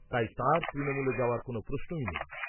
তাই তাঁর তৃণমূলে যাওয়ার কোন প্রশ্নই নেই।